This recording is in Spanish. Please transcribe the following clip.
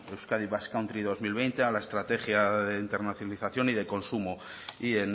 euskadi basque country dos mil veinte a la estrategia de internacionalización y de consumo y